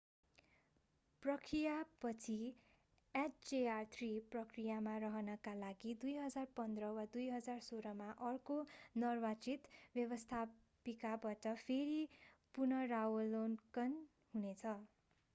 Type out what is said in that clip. प्रक्रियापछि hjr-3 प्रक्रियामा रहनका लागि 2015 वा 2016 मा अर्को निर्वाचित व्यवस्थापिकाबाट फेरि पुनरावलोकन हुने छ